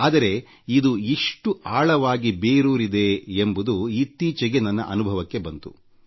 ಆದರೆ ಇದು ಇಷ್ಟು ಆಳವಾಗಿ ಬೇರೂರಿದೆ ಎಂಬುದು ಇತ್ತೀಚೆಗೆ ನನ್ನ ಅನುಭವಕ್ಕೆ ಬಂತು